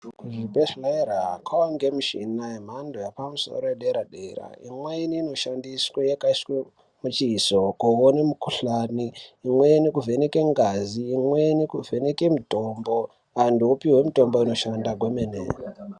Kuzvibhedhlera kwava nemishina yemhando yepamusoro yedera dera. Imweni inoshandiswe yakaiswe muchizo kuone mikhuhlani, imweni kuvheneke ngazi, imweni kuvheneke mitombo antu opihwe mitombo inoshanda kwemene.